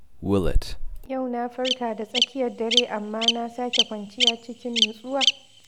Yau na farka da tsakiyar dare amma na sake kwanciya cikin nutsuwa.